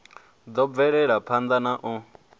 ḓo bvela phanḓa na u